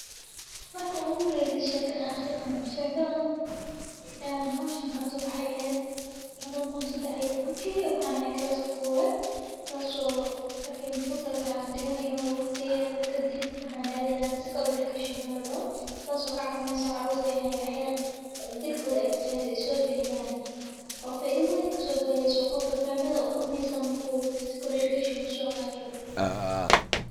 Markuu ugu raeysay, shaka shaka aan aan hooshaan karto waxa eed 2013 kii waxaanay kalaski goowad. Taasoo markii fasalka aan dhigan ay noo waqtiyeer ka dib maxaa naadeynaa physical education maal nado. Taasoo ka caawineysan carruurtii in ay xir jidka exercise ay soo bixiyaan. Waa faa'iido ah oo ka soo gaarayso qofka faamida furmay saam ku physical education u soo qaato.